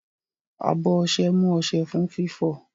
Abọ ọṣẹ mú ọṣẹ fún fífọ̀.